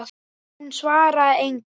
Hún svaraði engu.